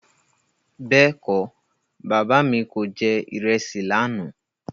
Bẹ́ẹ̀kọ́, Bàbá mi kò jẹ ìrẹsì lànà.